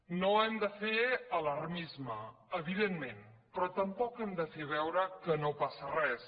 no hem de fer alarmisme evidentment però tampoc hem de fer veure que no passa res